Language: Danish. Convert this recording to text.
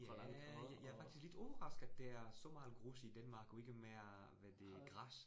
Ja, jeg jeg faktisk lidt overrasket der så meget grus i Danmark og ikke mere hvad det græs